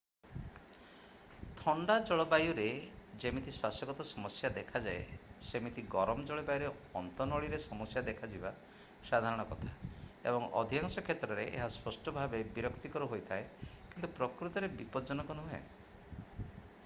ଥଣ୍ଡା ଜଳବାଯୁରେ ଯେମିତି ଶ୍ଵାସଗତ ସମସ୍ୟା ଦେଖାଯାଏ ସେମିତି ଗରମ ଜଳବାୟୁରେ ଅନ୍ତନଳୀ ରେ ସମସ୍ୟା ଦେଖାଯିବା ସାଧାରଣ କଥା ଏବଂ ଅଧିକାଂଶ କ୍ଷେତ୍ରରେ ଏହା ସ୍ପଷ୍ଟ ଭାବେ ବିରକ୍ତିକର ହୋଇଥାଏ କିନ୍ତୁ ପ୍ରକୃତରେ ବିପଜ୍ଜନକ ନୁହେଁ